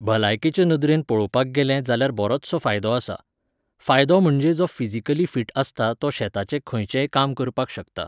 भलायकेचे नदरेन पळोवपाक गेलें जाल्यार बरोचसो फायदो आसा. फायदो म्हणजे जो फिजीकली फीट आसता तो शेताचे खंयचेय काम करपाक शकता